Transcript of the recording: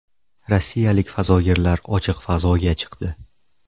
Rossiyalik fazogirlar ochiq fazoga chiqdi.